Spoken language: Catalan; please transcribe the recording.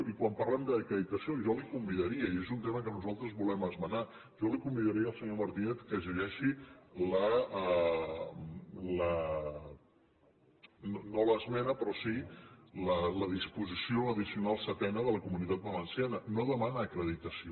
i quan parlem d’acreditació jo convidaria i és un tema que nosaltres volem esmenar el senyor martínez que llegeixi no l’esmena però sí la disposició addicional setena de la comunitat valenciana no demana acreditació